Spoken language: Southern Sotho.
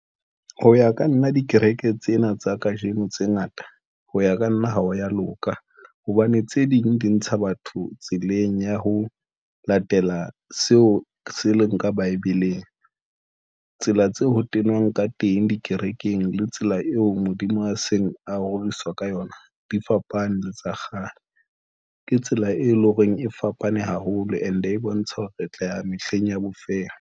Ho ya ka nna dikereke tsena tsa kajeno tse ngata ho ya ka nna ha o ya loka hobane tse ding di ntsha batho tseleng ya ho latela seo se le nka bibeleng. Tsela tse ho tenwang ka teng dikerekeng le tsela eo Modimo a seng a roriswa ka yona di fapane le tsa kgale, ke tsela e leng hore e fapane haholo, and e bontsha hore re tla ya mehleng ya bofeng.